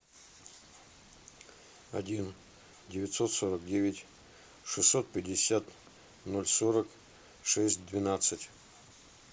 один девятьсот сорок девять шестьсот пятьдесят ноль сорок шесть двенадцать